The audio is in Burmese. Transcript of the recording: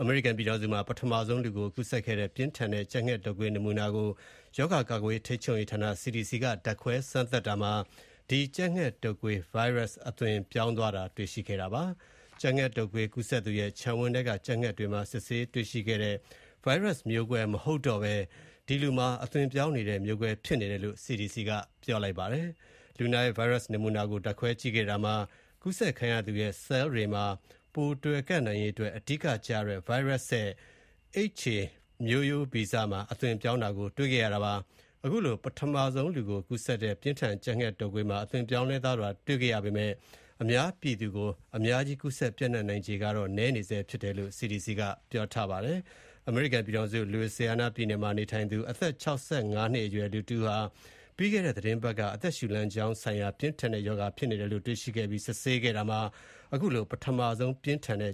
အမေရိကန်ပြည်ထောင်စုမှာ ပထမဆုံး လူကိုကူးစက်တဲ့ ပြင်းထန်တဲ့ ကြက်ငှက်တုပ်ကွေး နမူနာကို ရောဂါ ကာကွယ်ထိန်းချုပ်ရေးဌာန CDC က ဓါတ်ခွဲစမ်းသပ်တာမှာ Virus အသွင်ပြောင်းသွားတာ တွေ့ရှိခဲ့ပါတယ်။ ကြက်ငှက်တုပ်ကွေးကူးစက်သူရဲ့ ခြံဝင်းထဲက ကြက်ငှက်တွေမှာ စစ်ဆေးတွေ့ရှိတဲ့ Virus မျိုးကွဲ မဟုတ်ဘဲ အသွင်ပြောင်းနေတဲ့ မျိုးကွဲဖြစ်နေတယ်လို့ CDC က ပြောပါတယ်။ လူနာရဲ့ Virus နမူနာကို ဓါတ်ခွဲကြည့်ခဲ့တာမှာ ကူးစက်ခံရသူရဲ့ ဆဲလ်တွေမှာတွယ်နိုင်ရေးအတွက် အဓိကကျတဲ့ Virus ရဲ့ HA မျိုးဗီဇမှာ အသွင်ပြောင်းတာ တွေ့ခဲ့ရတာပါ။ အခုလို လူကိုကူးစက်တဲ့ ပြင်းထန် ကြပ်ငှက်တုပ်ကွေးမှာ အသွင်ပြောင်းလဲသွားတာ တွေ့ခဲ့ရပေမဲ့ အများပြည်သူကို ကူးစက် ပျံ့နှံ့နိုင်ခြေကတော့ နည်းနေဆဲ ဖြစ်တယ်လို့ CDC ကပြောပါတယ်။ အမေရိကန်ပြည်ထောင်စု Louisiana ပြည်နယ်မှာ နေထိုင်သူ အသက် ၆၅ နှစ်အရွယ် လူတဦးဟာ ပြီးခဲ့တဲ့ သီတင်းပတ်က အသက်ရှူလမ်းကြောင်းဆိုင်ရာ ပြင်းထန်တဲ့ ရောဂါဖြစ်နေတယ်လို့ တွေ့ခဲ့ ပြီးစစ်ဆေးကြည့်ခဲ့တာမှာ ပထမဆုံး ပြင်းထန်တဲ့